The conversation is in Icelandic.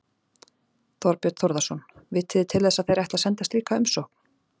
Þorbjörn Þórðarson: Vitið þið til þess að þeir ætli að senda slíka umsókn?